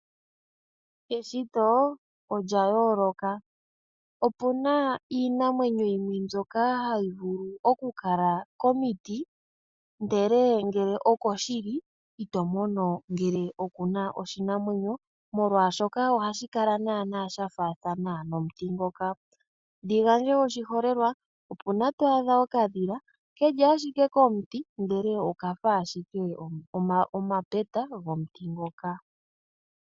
Eshito olya yooloka. Opuna iinamwenyo yimwe mbyoka hayi vulu oku kala komiti ndele ngele oko shili ito mono ngele okuna oshinamwenyo molwaashoka ohashi kala naana shafaathana nomuti ngoka . Ndigandje oshiholelelwa , opuna to adha okadhila keli ashike komuti ndele okafa ashike omapeta gomuti ngoka .